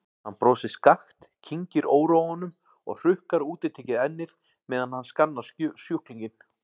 Hann brosir skakkt, kyngir óróanum og hrukkar útitekið ennið meðan hann skannar sjúklinginn.